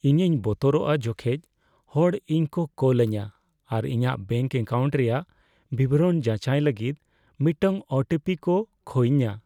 ᱤᱧᱤᱧ ᱵᱚᱛᱚᱨᱚᱜᱼᱟ ᱡᱚᱠᱷᱮᱡ ᱦᱚᱲ ᱤᱧᱠᱚ ᱠᱚᱞ ᱟᱹᱧᱟ ᱟᱨ ᱤᱧᱟᱹᱜ ᱵᱮᱹᱝᱠ ᱮᱠᱟᱣᱩᱱᱴ ᱨᱮᱭᱟᱜ ᱵᱤᱵᱚᱨᱚᱱ ᱡᱟᱪᱟᱭ ᱞᱟᱹᱜᱤᱫ ᱢᱤᱫᱴᱟᱝ ᱳ ᱴᱤ ᱯᱤ ᱠᱚ ᱠᱷᱚᱭᱤᱧᱟ ᱾